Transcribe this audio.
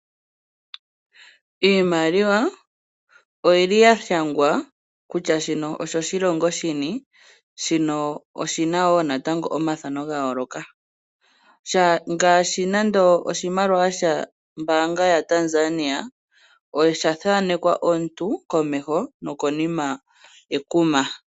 Iimaliwa oyili ya shangwa kutya shino osho shilongo shini, shino oshi na wo natango omathano ga yooloka ngaashi nande oshimaliwa shombaanga yaTanzania osha thaanekwa omuntu komeho nokonima ekuma.